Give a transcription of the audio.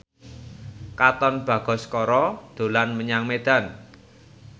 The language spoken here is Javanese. Katon Bagaskara dolan menyang Medan